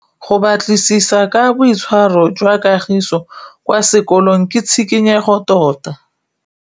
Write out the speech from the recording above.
Go batlisisa ka boitshwaro jwa Kagiso kwa sekolong ke tshikinyêgô tota.